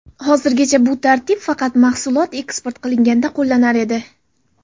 Hozirgacha bu tartib faqat mahsulot eksport qilinganda qo‘llanar edi.